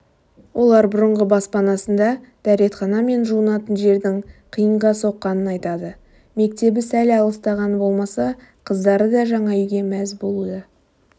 олар бұрынғы баспанасында дәретхана мен жуынатын жердің қиынға соққанын айтады мектебі сәл алыстағаны болмаса қыздары да жаңа үйге мәз болуда